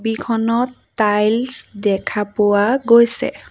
ছবিখনত টাইলছ দেখা পোৱা গৈছে।